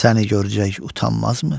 Səni görgək utanmazmı?